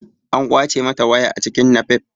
An ƙwace mata waya a cikin napep.